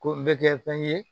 Ko n bɛ kɛ fɛn ye